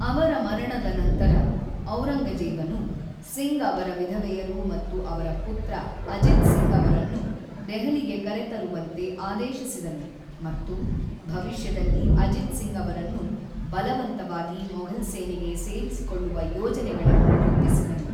ಅವಮ ಮರಣದ ನಂತರ, ಔರಂಗಜೇಬನು ಸಿಂಗ್ ಅವರ ವಿಧವೆಯರು ಮತ್ತು ಅವರ ಪುತ್ರ ಅಜಿತ್ ಸಿಂಗ್ ಅವರನ್ನು ದೆಹಲಿಗೆ ಕರೆತರುವಂತೆ ಆದೇಶಿಸಿದನು ಮತ್ತು ಭವಿಷ್ಯದಲ್ಲಿ ಅಜಿತ್ ಸಿಂಗ್ ಅವರನ್ನು ಬಲವಂತವಾಗಿ ಮೊಘಲ್ ಸೇನೆಗೆ ಸೇರಿಸಿಕೊಳ್ಳುವ ಯೋಜನೆಗಳನ್ನು ರೂಪಿಸಿದನು.